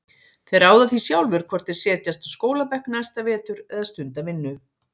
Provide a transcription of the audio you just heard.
Þeir ráða því sjálfir hvort þeir setjast á skólabekk næsta vetur eða stunda vinnu.